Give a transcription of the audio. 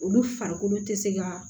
Olu farikolo tɛ se ka